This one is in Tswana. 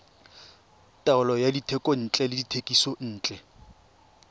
taolo ya dithekontle le dithekisontle